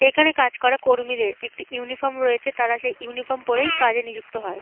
এখানে কাজ করা কর্মীদের একটি ইউনিফর্ম রয়েছে। তারা সেই ইউনিফর্ম পরেই কাজে নিযুক্ত হয়।